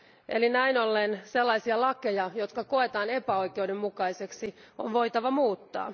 Eli näin ollen sellaisia lakeja, jotka koetaan epäoikeudenmukaisiksi, on voitava muuttaa.